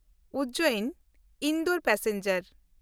Ujjain Indore passenger